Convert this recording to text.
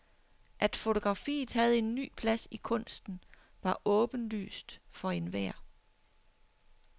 At fotografiet havde en ny plads i kunsten, var åbenlyst for enhver.